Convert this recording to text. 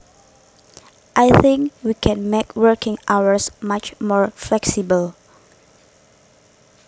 I think we can make working hours much more flexible